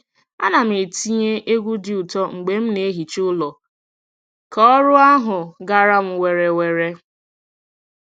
A na m etinye egwu dị ụtọ mgbe m na - ehicha ụlọ ka ọrụ ahụ gara m were were.